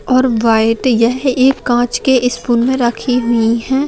और वाइट यह एक कांच के स्पून में रखी हुई हैं ।